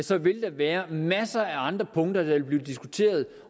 der vil være masser af andre punkter der vil blive diskuteret